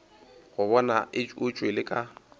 go bona o tšwele ka